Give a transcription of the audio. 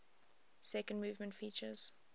second movement features